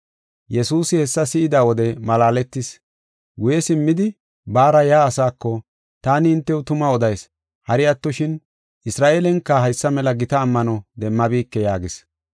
Yesuusi hessa si7ida wode malaaletis. Guye simmidi baara yaa asaako, “Taani hintew tuma odayis; hari attoshin Isra7eelenka haysa mela gita ammano demmabike” yaagis.